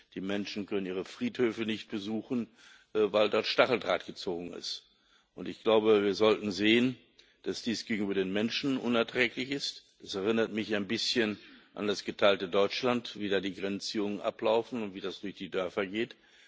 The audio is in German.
Die Menschen können ihre Friedhöfe nicht besuchen, weil dort Stacheldraht gezogen ist. Wir sollten sehen, dass dies gegenüber den Menschen unerträglich ist. Das erinnert mich ein bisschen an das geteilte Deutschland, wie da die Grenzziehungen ablaufen und wie das durch die Dörfer geht.